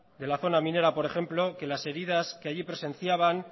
de la zona minera por ejemplo que las heridas que allí presenciaban